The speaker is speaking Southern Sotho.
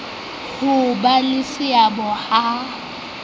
ho ba le seabo ha